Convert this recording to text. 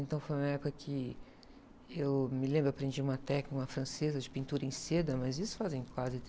Então foi uma época que eu me lembro, aprendi uma técnica, uma francesa de pintura em seda, mas isso fazem quase...